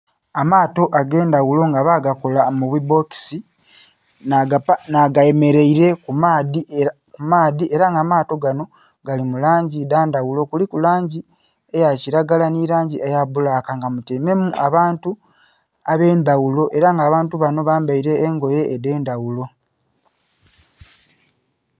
Amaato ag'endhagulo nga bagakola mu bibbokisi, nh'agemeleile ku maadhi. Ela nga amaato gano gali mu langi dha ndhaghulo. Kuliku langi eya kilagala nhi langi eya bbulaka nga mutyaimemu abantu ab'endhagulo ela nga abantu bano bambaile engoye edh'endhaghulo.